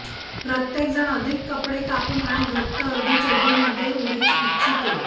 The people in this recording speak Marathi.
प्रत्येकजण अधिक कपडे कापून आणि घट्ट अर्धी चड्डी मध्ये उडी इच्छिते